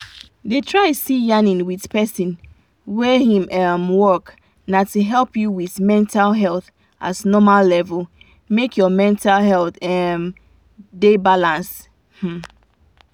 dey try see yanin with person wey him um work na to help you with mental wahala as normal level make your mental health um da balanced um